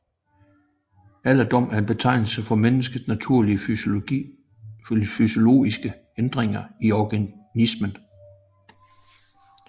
Alderdom er en betegnelse for menneskets naturlige fysiologiske ændringer i organismen